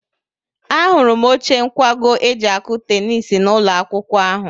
Ahụrụ m oche nkwago e ji akụ tenisi n'ụlọ akwụkwọ ahụ.